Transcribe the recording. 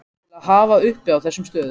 til að hafa uppi á þessum stöðum.